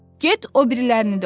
Get o birilərini də oxu.